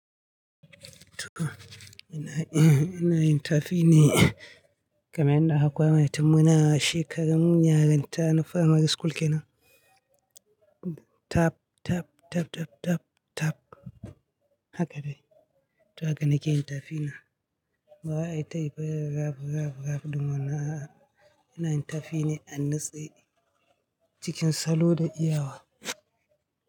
To ina, ina yin tafi ne kamar yanda aka koya mana tun muna shekarun yarinta na firamari school kenan. Taaf, taf, tatattaf, taf. Haka dai. To haka nake yin tafi na. Baza ai tayi irin raf, raf, raf, domin ina, ina yin tafi ne a nutse cikin salo da iyawa.